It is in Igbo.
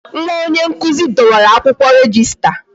Nwa onye nkụzi dọwara akwụkwọ rejista